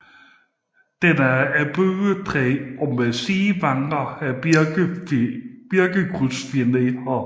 Den er af bøgetræ og med sidevanger af birketræskrydsfiner